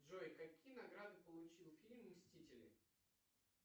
джой какие награды получил фильм мстители